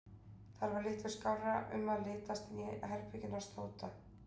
Þar var litlu skárra um að litast en í herberginu hans Tóta.